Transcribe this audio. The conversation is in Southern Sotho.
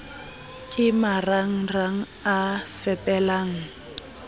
ke maranran g a fepelang